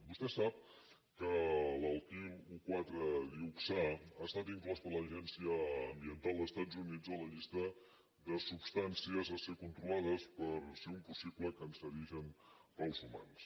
vostè sap que l’alquil un coma quatre dioxà ha estat inclòs per l’agència ambiental dels estats units a la llista de substàncies a ser controlades per ser un possible cancerigen per als humans